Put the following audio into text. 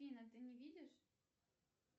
афина ты не видишь